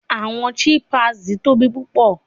Awọn chimpanzees tobi pupọ